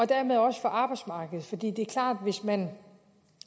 dermed også for arbejdsmarkedet for det er klart at hvis man